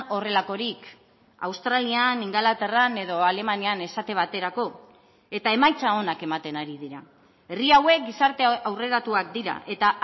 horrelakorik australian ingalaterran edo alemanian esate baterako eta emaitza onak ematen ari dira herri hauek gizarte aurreratuak dira eta